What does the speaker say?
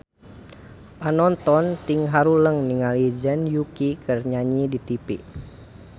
Panonton ting haruleng ningali Zhang Yuqi keur nyanyi di tipi